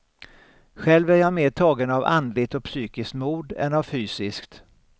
Själv är jag mer tagen av andligt och psykiskt mod än av fysiskt.